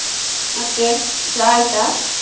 ಮತ್ತೆ ಚಾ ಆಯ್ತಾ?